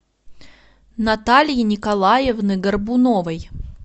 натальи николаевны горбуновой